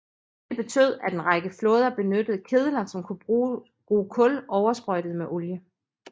Det betød at en række flåder benyttede kedler som kunne bruge kul oversprøjtet med olie